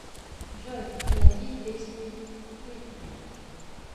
джой найди песню писес